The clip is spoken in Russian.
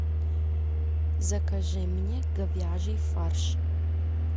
закажи мне говяжий фарш